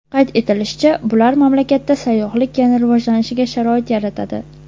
Qayd etilishicha, bular mamlakatda sayyohlik yana rivojlanishiga sharoit yaratadi.